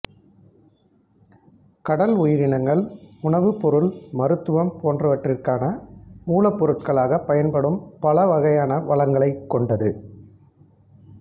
கடல் உயிரினங்கள் உணவு பொருள் மருத்துவம் பொன்றவற்றிற்கான மூலப்பொருட்களாக பயன்படும் பல வகையான வளங்களைக் கொண்டது